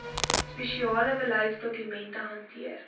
spesifieke beleidsdokumente hanteer